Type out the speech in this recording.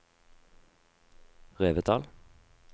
Revetal